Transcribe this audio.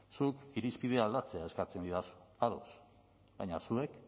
zuk irizpide aldatzea eskatzen didazu ados baina zuek